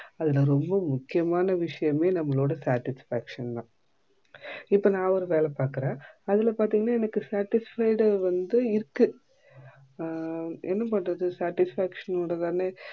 அதுல ரொம்ப முக்கியமான விஷயமே நம்மளோட satisfaction தா இப்போ நா ஒரு வேல பாக்குற அதுல பாத்தீங்கன்னா எனக்கு satisfied வந்து இருக்கு ஆஹ் என்ன பண்றது satisfaction னுடத்தானே